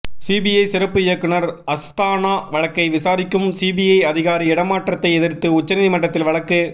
CBI சிறப்பு இயக்குநர் அஸ்தானா வழக்கை விசாரிக்கும் சிபிஐ அதிகாரி இடமாற்றத்தை எதிர்த்து உச்ச நீதிமன்றத்தில் வழக்கு